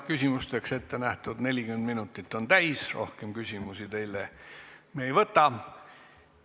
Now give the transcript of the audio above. Küsimusteks ettenähtud 40 minutit on täis, rohkem küsimusi teile me ei esita.